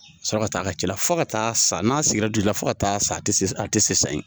Sɔrɔ ka taa a ka ci la fo ka taa san n'a sigira dugu la fo ka taa san ti se a tɛ se yen